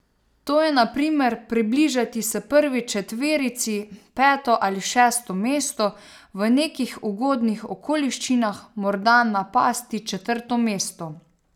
To je na primer približati se prvi četverici, peto ali šesto mesto, v nekih ugodnih okoliščinah morda napasti četrto mesto.